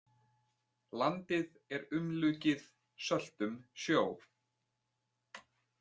Landið er umlukið söltum sjó.